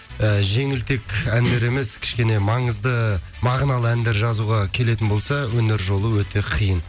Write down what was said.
і жеңілтек әндер емес кішкене маңызды мағыналы әндер жазуға келетін болса өнер жолы өте қиын